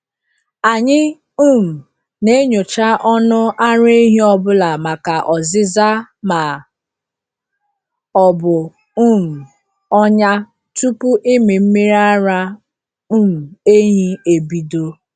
Anyị um na-enyocha ọnụ ara ehi ọ bụla maka ọzịza ma ọ bụ um ọnya tupu ịmị mmiri ara um ehi ebido.